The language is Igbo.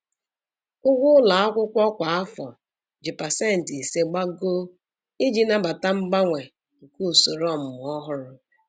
Ụgwọ ụlọ akwụkwọ kwa afọ ji pasentị ise gbagoo (5%) iji nabata mgbanwe nke usoro ọmụmụ ọhụrụ.